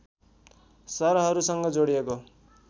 सहरहरूसँग जोडिएको छ